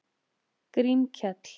Grímkell